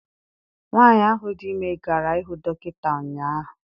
Nwaanyi ahụ dị ime gara ihụ dọkịta ụnyaahụ.